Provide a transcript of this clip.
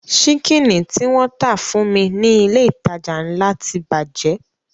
Ṣíkìnì tí wọ́n tà fún mi ní ilé ìtajà ńlá ti bàjẹ́